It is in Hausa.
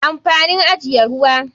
Amfanin ajiye ruwa.